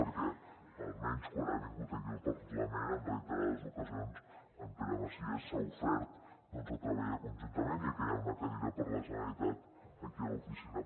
perquè almenys quan ha vingut aquí al parlament en reiterades ocasions en pere macias s’ha ofert a treballar conjuntament ja que hi ha una cadira per a la generalitat aquí a l’oficina